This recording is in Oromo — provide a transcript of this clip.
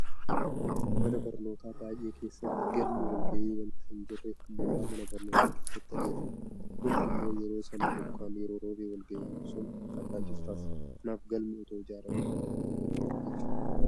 Mana barnootaa baay'ee keessatti galmi walgahii waanta hin jirreef mooraa mana barnootaa keessatti adeemsifama. Kun immoo yeroo sana bokkaan yoo roobe walgahiin sun akka addaan citu taasisa. Kanaaf galmi itoo ijaaramee baay'ee gaariidha jechuudha.